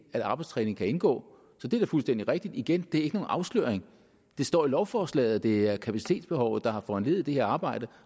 at arbejdstræning kan indgå det er fuldstændig rigtigt igen det er ikke nogen afsløring det står i lovforslaget at det er kapacitetsbehovet der har forhandlet det her arbejde